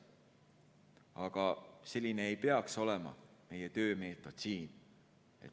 Aga selline ei peaks olema meie töömeetod.